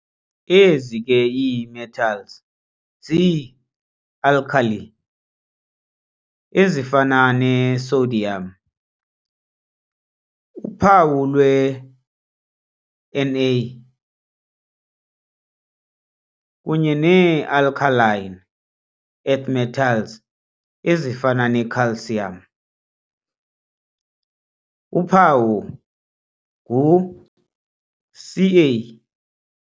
Ezi ke ii-metals zii-alkali ezifana ne-sodium, uphawu lwe-Na, kunye nee-alkaline earth metals ezifana ne-calcium, uphawu ngu-Ca.